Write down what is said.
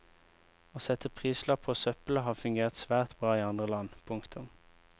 Å sette prislapp på søppelet har fungert svært bra i andre land. punktum